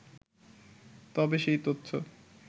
তবে সেই তথ্য